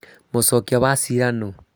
Mũcokia Wa cira nũ?